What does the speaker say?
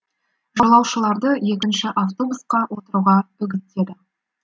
жолаушыларды екінші автобусқа отыруға үгіттеді